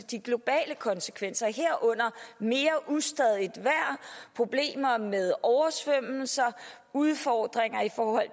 de globale konsekvenser herunder mere ustadigt vejr problemer med oversvømmelser udfordringer i form af